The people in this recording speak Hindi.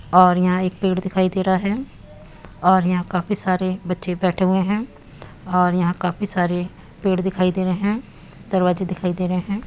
और यहाँ एक पेड़ दिखाई दे रहा है और यहाँ काफी सारे बच्चे बेठे हुए हैं और यहाँ काफी सारे पेड़ दिखाई दे रहे हैं दरवाजे दिखाई दे रहे हैं।